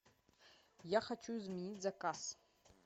я хочу изменить заказ